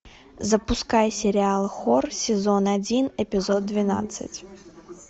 запускай сериал хор сезон один эпизод двенадцать